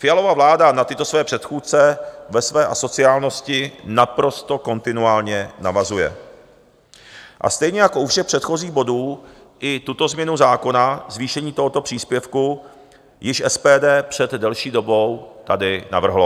Fialova vláda na tyto své předchůdce ve své asociálnosti naprosto kontinuálně navazuje a stejně jako u všech předchozích bodů, i tuto změnu zákona, zvýšení tohoto příspěvku, již SPD před delší dobou tady navrhlo.